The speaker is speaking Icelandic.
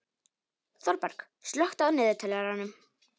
Þorberg, slökktu á niðurteljaranum.